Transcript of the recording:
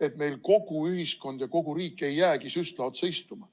et meil kogu ühiskond ja kogu riik ei jäägi süstla otsa istuma.